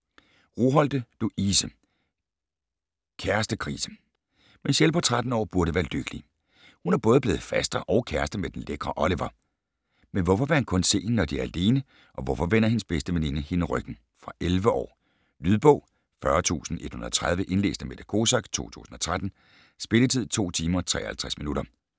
Roholte, Louise: Kæreste-krise! Michelle på 13 år burde være lykkelig. Hun er både blevet faster og kæreste med den lækre Oliver. Men hvorfor vil han kun se hende, når de er alene og hvorfor vender hendes bedste veninde hende ryggen? Fra 11 år. Lydbog 40130 Indlæst af Mette Kosack, 2013. Spilletid: 2 timer, 53 minutter.